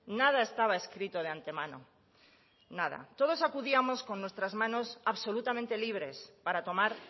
nada estaba escrito de antemano nada todos acudíamos con nuestras manos absolutamente libres para tomar